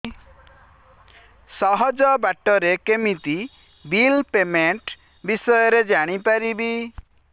ସହଜ ବାଟ ରେ କେମିତି ବିଲ୍ ପେମେଣ୍ଟ ବିଷୟ ରେ ଜାଣି ପାରିବି